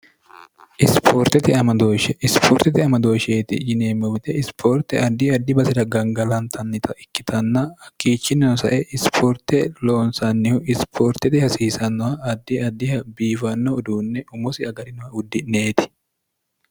ispoortete amadooshsheeti yineemmowite isipoorte addi addi basi'ra gangalantannita ikkitanna hakkiichinninosae isipoorte loonsannihu isipoortete hasiisannoha addi addiha biifanno uduunne umosi agarinoha uddi'neeti